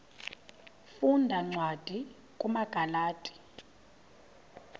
funda cwadi kumagalati